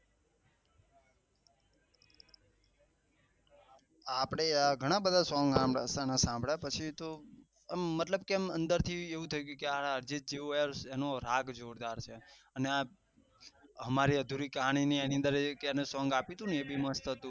આપળે યાર ઘણા બધા સોંગ શામ્ળિયું છું મતલબ કે એમ અંદર થી એવું થયી ગયું હતું કે આ અર્જિત જેવું એનો રાગ જોરદાર છે અને આજ હમારી અધુરી કહાની ની એની અંદર એ એને સોંગ આપ્યું હતું ને